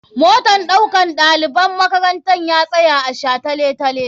Motan ɗaukan ɗaliban makaranta ya tsaya a shataletale.